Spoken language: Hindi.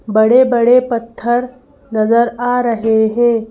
बड़े-बड़े पत्थर नजर आ रहे हैं।